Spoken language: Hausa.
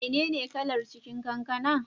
Mene ne kalar cikin kankana?